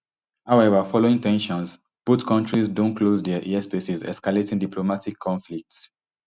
however following ten sions both kontris don close dia airspaces escalating diplomatic conflicts